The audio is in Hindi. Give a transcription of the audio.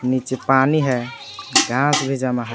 नीचे पानी है घांस भी जमा है।